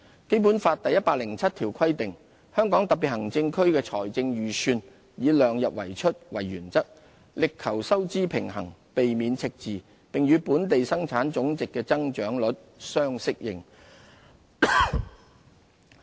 《基本法》第一百零七條規定："香港特別行政區的財政預算以量入為出為原則，力求收支平衡，避免赤字，並與本地生產總值的增長率相適應"。